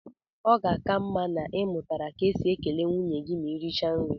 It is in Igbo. Ọ ga-aka mma na ị mụtara ka e si ekele nwunye gị ma ị richaa nri